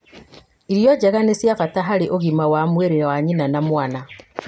irio njega nĩ cia bata harĩ ũgima wa mwĩrĩ wa nyina na mwana